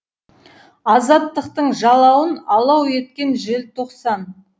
азаттықтың жалауын алау еткен желтоқсан